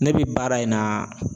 Ne bi baara in na